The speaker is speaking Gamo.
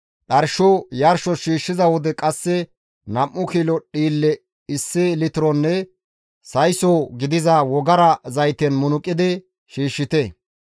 « ‹Dharsho yarshos shiishshiza wode qasse nam7u kilo dhiille issi litironne sayso gidiza wogara zayten munuqidi shiishshite.